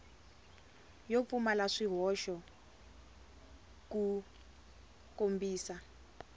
yo pfumala swihoxo ku kombisa